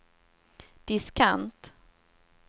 diskant